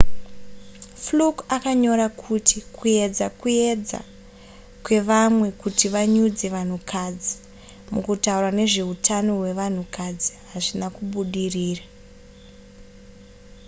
fluke akanyora kuti kuyedza kuedza kwevamwe kuti vanyudze vanhukadzi mukutaura nezvehutano hwevanhukadzi hazvina kubudirira